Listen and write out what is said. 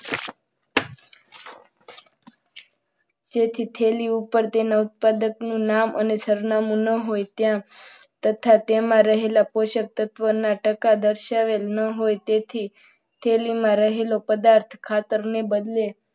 તેથી તેની ઉપર તેના ઉત્પાદકનું નામ અને સરનામું ન હોય ત્યાં તથા રહેલા પોષક તત્વો ના ટકા દર્શાવે ન હોય તેથી થેલીમાં રહેલા પદાર્થ ખાતરને બદલે,